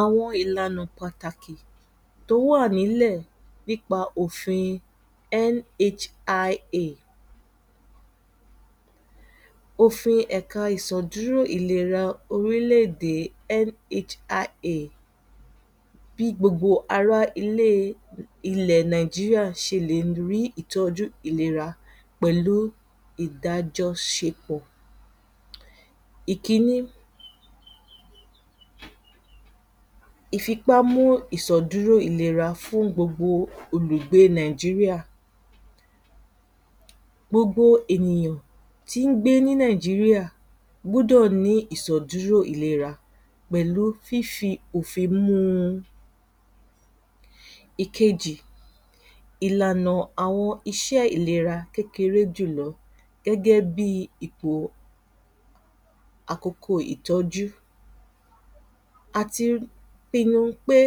àwọn ìlànà pàtàkì tó wà ní ìlẹ̀ nípa òfin NHIA òfin ẹ̀ka ìsò ìdúró ìlera òrílè-èdè NSIA bí gbogbo ará ilé ìlẹ̀ nàìjíríà ṣe lè rí ìtọ́jú ìlera pẹ̀lú ìdájọ́ṣẹpọ̀. ìkínní ìfípámú ìsọ̀dúró ìlera fún gbogbo òlùgbé nàìjírìà gbogbo ènìyàn tí ń gbé ní nàìjírìà gbọ́dọ̀ ní ìsọ̀dúró ìlera pẹ̀lú fífi òfin mú u ìkejì ìlànà àwọn iṣé ìléra kéreré jùlọ gẹ́gẹ́ bí ìpò àkókò ìtọ́jú àti pinnu pé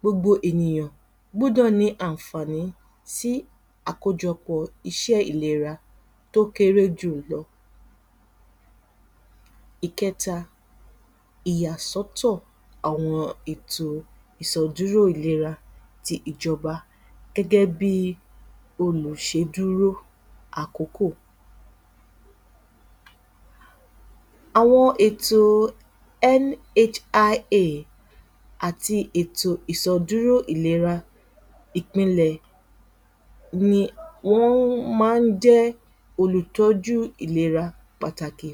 gbogbo ènìyàn gbọ́dọ̀ ní àǹfàǹí sí àkójọ̀pọ̀ iṣé ìléra tọ́ kéré jùlọ ìkẹ́ta ìyàsọ́tọ̀ àwọn ìṣọ̀dúró ìlera tí ìjọba gẹ́gẹ́ bí olùṣédúró àkókò àwọn ètò NHIA àti ètò ìsọ̀dúró ìlera ìpinlẹ̀ ni wọ́n má ń jẹ́ ẹ́ olùọ́jú ìlera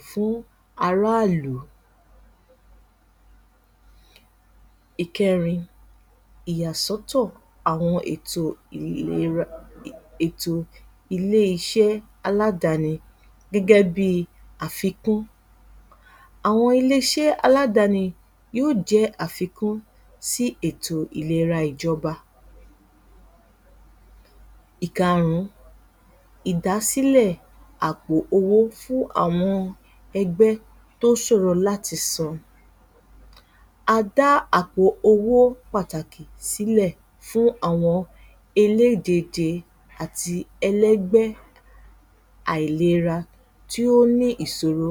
fún ará ìlú ìkérin ìyàsọ́tọ̀ àwọn èto ìlera ilé-iṣẹ́ aládàní gẹ́gẹ́ bi àfikún àwọn ilé-iṣé aládàni yíò jẹ́ àfikún sí ètò ìlera ìjọba ìkáárùǹ idàsílẹ̀ àpò owó fún àwọn ẹgbẹ́ tó ṣòró láti san-an adá àpò owó pàtàkì sílẹ̀ fún àwọn elédèèdè àti elẹ́gbẹ́ aìlera tí ó ní isòró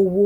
owó.